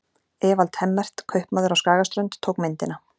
Evald Hemmert, kaupmaður á Skagaströnd, tók myndina.